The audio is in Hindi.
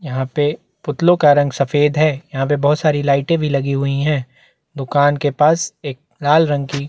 यहाँ पे पुतलों का रंग सफेद है यहाँ पे बहुत सारी लाइटें भी लगी हुई है दुकान के पास एक लाल रंग की--